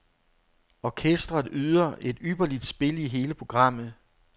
Orkestret yder et ypperligt spil i hele programmet.